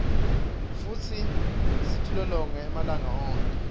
futsi sitilolonge malanga onkhe